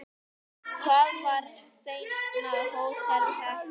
Það var seinna Hótel Hekla.